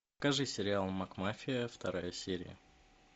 покажи сериал макмафия вторая серия